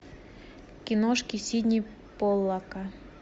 киношки сидни поллака